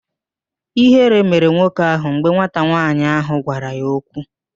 Ịhere mere nwoke ahụ mgbe nwata nwaanyị ahụ gwara ya okwu